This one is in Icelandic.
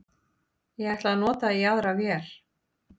Ég ætla að nota í aðra vél